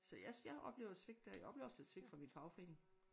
Så jeg jeg oplever et svigt der jeg oplever også et svigt fra min fagforening